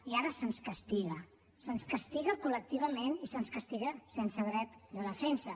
i ara se’ns castiga se’ns castiga col·lectivament i se’ns castiga sense dret de defensa